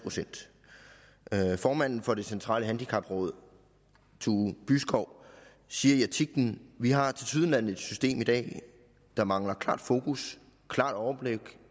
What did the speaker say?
formanden for det centrale handicapråd tue byskov siger i artiklen vi har tilsyneladende et system i dag der mangler klart fokus klart overblik